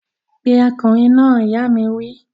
Pe ọkùnrin náà! ìyá mi wí